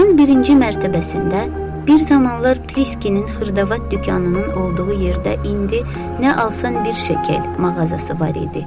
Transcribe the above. Binanın birinci mərtəbəsində bir zamanlar Pliskinin xırdavat dükanının olduğu yerdə indi nə alsan bir şəkil mağazası var idi.